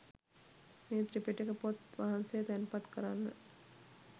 මේ ත්‍රිපිටක පොත් වහන්සේ තැන්පත් කරන්න.